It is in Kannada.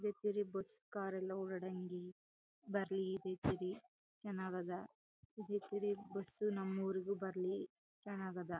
ಬಸ್ ಕಾರ್ ಎಲ್ಲ ಓಡಾಡಿಹಾಂಗ್ ಬರಲೀ ಚನ್ನಾಗ್ ಅದ ಬಸು ನಮ್ಮ್ ಊರಿಗೂ ಬರ್ಲಿ ಚನ್ನಾಗ್ ಅದ.